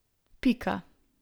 Pika.